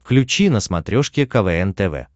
включи на смотрешке квн тв